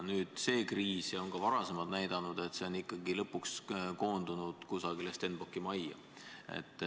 Nüüd, see kriis ja ka varasemad on näidanud, et kõik koondub lõpuks ikkagi kusagile Stenbocki majja.